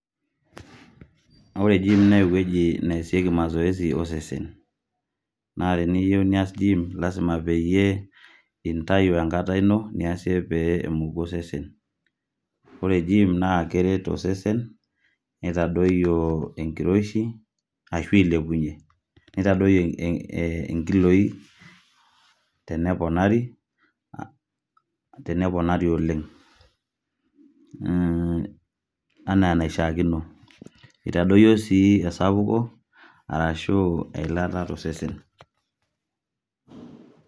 ore gym naa ewueji neesieki mazoezi osesen. Naa teniyieu niyas gym lasima peyie intayu enkata ino niasie pee emoku osesen, ore gym naa keret osesen nitadoyio enkiroshi ashu ilepunyie. Nitadoyio eh nkiloi teneponari, teneponari oleng' mmmh anaa enaishiakino itadoyio sii esapuko arashu eilata tosesen.